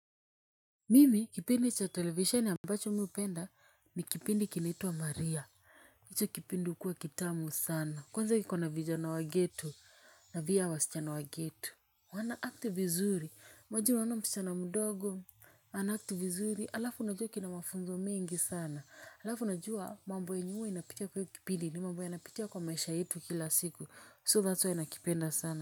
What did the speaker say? Mimi kipindi cha televisheni ambacho mi hupenda ni kipindi kinaitwa Maria. Hicho kipindi hukuwa kitamu sana kwanza iko na vijana wa ghetto na pia wasichana wa ghetto. Wanaact vizuri. Wajua unaona msichana mdogo ana act vizuri, halafu unajua kina mafunzo mengi sana. Alafu unajua mambo yenye huwa inapitia kwenye hiyo kipindi ni mambo yanapitia kwa maisha yetu kila siku. So that's why nakipenda sana.